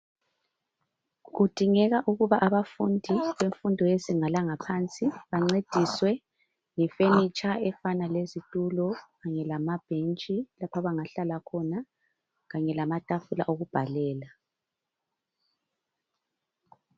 Kudingeka ukuba abafundi bemfundo yezinga langaphansi bancediswe ngefurniture efana lezitulo kanye lamabhentshi lapho abangahlala khona kanye lamatafula okubhalela.